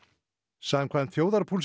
samkvæmt þjóðarpúlsi